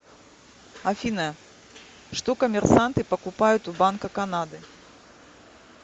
афина что коммерсанты покупают у банка канады